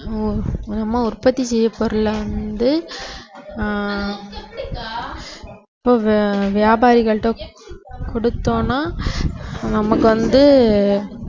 ஹம் நம்ம உற்பத்தி செய்த பொருளை வந்து ஆஹ் இப்ப வியா~ வியாபாரிகள்ட்ட கொடுத்தோம்னா நமக்கு வந்து அஹ்